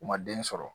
U ma den sɔrɔ